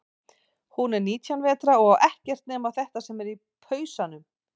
Hún er nítján vetra og á ekkert nema þetta sem er í pausanum.